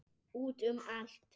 Út um allt.